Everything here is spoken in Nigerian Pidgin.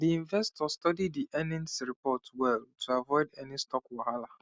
the investor study the earnings report well to avoid any stock wahala